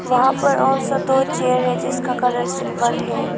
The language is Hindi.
वहां पर और दो चेयर है जिसका कलर सिल्वर है।